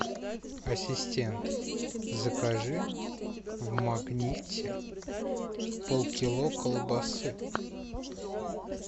ассистент закажи в магните полкило колбасы